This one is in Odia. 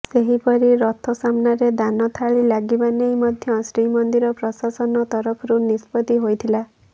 ସେହିପରି ରଥ ସାମ୍ନାରେ ଦାନ ଥାଳି ଲାଗିବା ନେଇ ମଧ୍ୟ ଶ୍ରୀମନ୍ଦିର ପ୍ରଶାସନ ତରଫରୁ ନିଷ୍ପତି ହୋଇଥିଲା